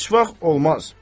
Heç vaxt olmaz.